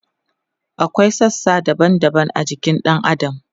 akwai sassa daban daban a jikin ɗan adam